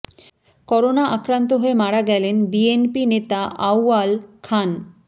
corona আক্রান্ত হয়ে মারা গেলেন বিএনপি নেতা আউয়াল খান